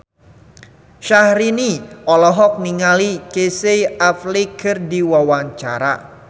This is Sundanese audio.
Syaharani olohok ningali Casey Affleck keur diwawancara